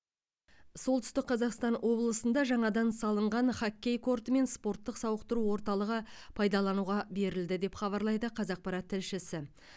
солтүстік қазақстан облысында жаңадан салынған хоккей корты мен спорттық сауықтыру орталығы пайдалануға берілді деп хабарлайды қазақпарат тілшісі